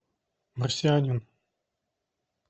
марсианин